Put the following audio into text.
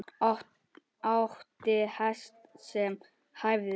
Átti hest sem hæfði.